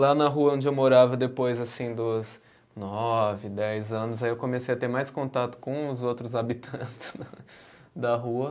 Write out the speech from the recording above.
Lá na rua onde eu morava depois, assim, dos nove, dez anos, aí eu comecei a ter mais contato com os outros habitantes da rua.